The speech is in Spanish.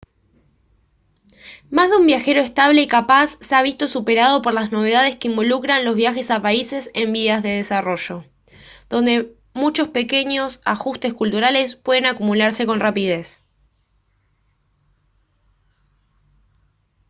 más de un viajero estable y capaz se ha visto superado por las novedades que involucran los viajes a países en vías de desarrollo donde muchos pequeños ajustes culturales pueden acumularse con rapidez